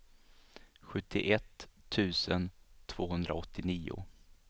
sjuttioett tusen tvåhundraåttionio